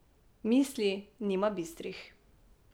Misli nima bistrih.